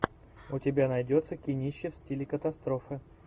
у тебя найдется кинище в стиле катастрофа